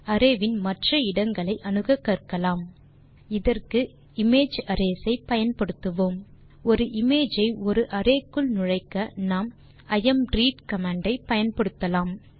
array வின் மற்ற இடங்களை அணுக கற்கலாம் இதற்கு இமேஜ் அரேஸ் ஐ பயன்படுத்துவோம் ஒரு இமேஜ் ஐ ஒரு அரே க்குள் நுழைக்க நாம் இம்ரெட் கமாண்ட் ஐ பயன்படுத்தலாம்